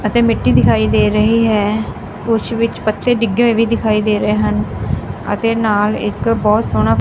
ਅਤੇ ਮਿੱਟੀ ਦਿਖਾਈ ਦੇ ਰਹੀ ਹੈ ਕੁਛ ਵਿੱਚ ਬੱਚੇ ਡਿੱਗੇ ਹੋਏ ਵੀ ਦਿਖਾਈ ਦੇ ਰਹੇ ਹਨ ਅਤੇ ਨਾਲ ਇੱਕ ਬਹੁਤ ਸੋਹਣਾ--